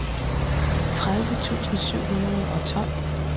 tredive tusind syv hundrede og tolv